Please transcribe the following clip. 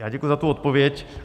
Já děkuji za tu odpověď.